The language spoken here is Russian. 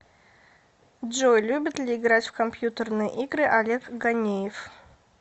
джой любит ли играть в компьютерные игры олег ганеев